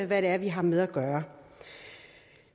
hvad det er vi har med at gøre